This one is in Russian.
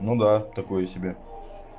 ну да такое себе